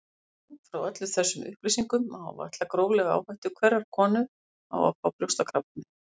Út frá öllum þessum upplýsingum má áætla gróflega áhættu hverrar konu á að fá brjóstakrabbamein.